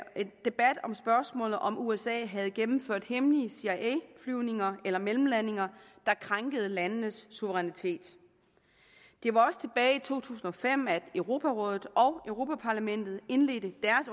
debat om spørgsmålet om usa havde gennemført hemmelige cia flyvninger eller mellemlandinger der krænkede landenes suverænitet det var også tilbage i to tusind og fem at europarådet og europa parlamentet indledte